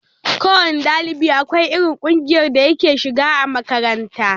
Ko wanne ɗalibi akwai irin kunjiyar da yake shiga a makaranta.